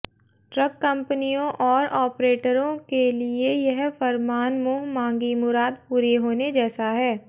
truck कपंनियों और ऑपरेटरों के लिए यह फरमान मुंह मांगी मुराद पूरी होने जैसा है